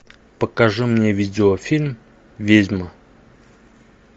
покажи мне видеофильм ведьма